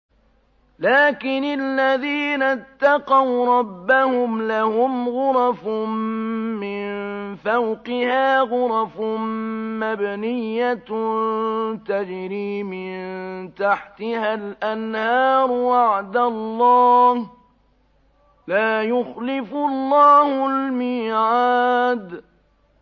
لَٰكِنِ الَّذِينَ اتَّقَوْا رَبَّهُمْ لَهُمْ غُرَفٌ مِّن فَوْقِهَا غُرَفٌ مَّبْنِيَّةٌ تَجْرِي مِن تَحْتِهَا الْأَنْهَارُ ۖ وَعْدَ اللَّهِ ۖ لَا يُخْلِفُ اللَّهُ الْمِيعَادَ